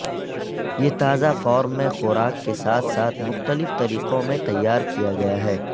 یہ تازہ فارم میں خوراک کے ساتھ ساتھ مختلف طریقوں میں تیار کیا گیا ہے